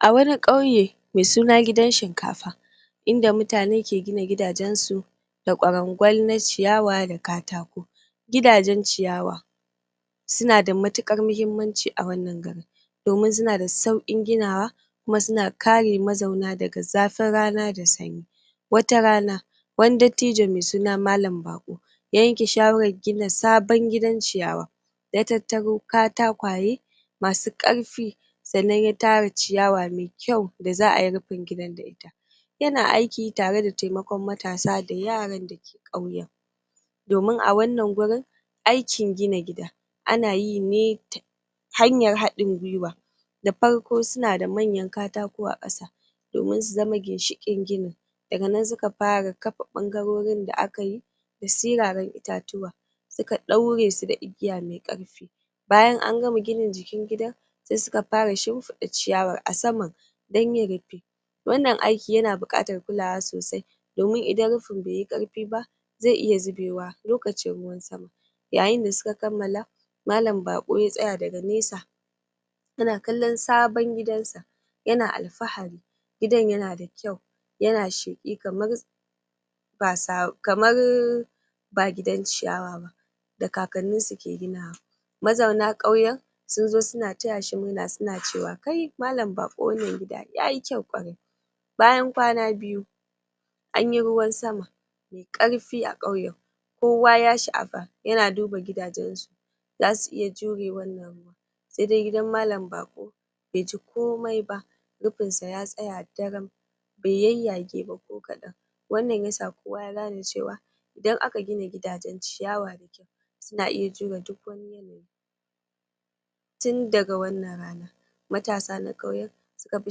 A wani ƙauye mai suna gidan shinkafa inda mutane ke gina gidajensu da ƙwarangwal na ciyawa da katako gidajen ciyawa suna da matuƙar muhimmanci a wannan garin domin suna da sauƙin ginawa kuma suna kare mazauna daga zafin rana da sanyi wata rana wani dattijo mai suna malam baƙo ya yanke shawaran gina sabon gidan ciyawa ya tattaro katakwaye masu ƙarfi sannan ya tara ciyawa mai kyau da zaʼayi rufin gidan da ita yana aiki tare da taimakon matasa da yaran da ke ƙauyen domin a wannan gurin aikin gina gida ana yi ne ta hanyar haɗin gwiwa da farko suna da manyan katako a ƙasa domin su zama ginshiƙin gini daga nan suka fara kapa ɓangarorin da akayi da siraran itatuwa suka ɗaure su da igiya mai ƙarfi bayan an gama ginin jikin gidan sai suka fara shimfiɗa ciyawar a saman don yin rufi wannan aiki yana buƙatar kulawa sosai domin idan rufin bai yi ƙarfi ba zai iya zubewa lokacin ruwan sama yayin da suka kammala malan baƙo ya tsaya daga nesa yana kallon sabon gidansa yana alfahari gidan yana da kyau yana sheƙi kamar ba sabo kamarrr ba gidan ciyawa ba da kakanninsu ke ginawa mazauna ƙauyen sun zo suna taya shi murna suna cewa kai malan baƙo wannan gida yayi kyau ƙwarai bayan kwana biyu anyi ruwan sama mai ƙarfi a ƙauyen kowa ya shaʼapa yana duba gidajensu zasu iya jure wannan ruwan sai dai gidan malan baƙo bai ji komai ba rufin sa ya tsaya daram bai yayyage ba ko kadan wannan yasa kowa ya gane cewa idan aka gina gidajen ciyawa mai kyau suna iya jure duk tin daga wannan rana matasa na ƙauyen suka fi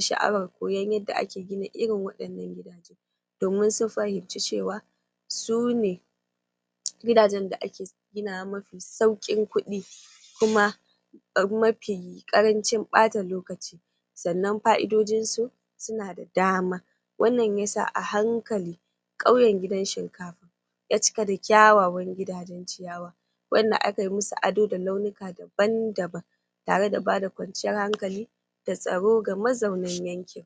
shaʼawar koyan yadda ake gina irin waɗannan gidaje domin sun fahimci cewa su ne gidajen da ake ginawa mafi sauƙin kuɗi kuma mafi ƙarancin ɓata lokaci sannan paʼidojinsu suna da dama wannan yasa a hankali ƙauyen gidan shinkafa ya cika da kyawawan gidajen ciyawa wanda aka yi musu ado da launuka daban daban tare da bada kwanciyar hankali da tsaro ga mazaunan yankin